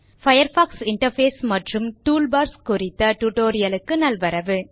Firefox interface மற்றும் toolbars பற்றிய Tutorialக்கு நல்வரவு